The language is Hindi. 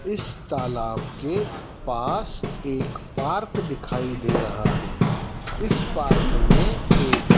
इस तालाब के पास एक पार्क दिखाई दे रहा हैं। इस पार्क में एक--